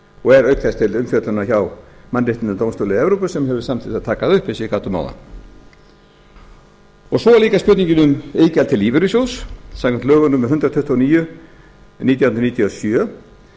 og er auk þess til umfjöllunar hjá mannréttindadómstóli evrópu sem hefur samþykkt að taka það upp eins og ég gat um áðan svo er líka spurningin um iðgjald til lífeyrissjóðs samkvæmt lögum númer hundrað tuttugu og níu nítján hundruð níutíu og sjö